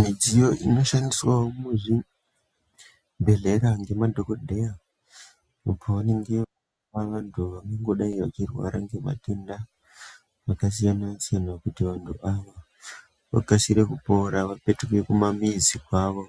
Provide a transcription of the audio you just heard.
Midziyo inoshandiswavo muzvibhedhleya ngemadhogodheya apo vanenge vantu vangangodai vachirwara ngematenda akasiyana-siyana. Kuti vantu ava vakasire kupora vapetuke kumamizi kwavo